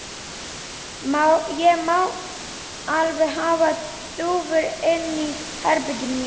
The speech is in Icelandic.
Ég má alveg hafa dúfur inni í herberginu mínu.